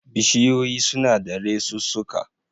Bishiyoyi suna da resussuka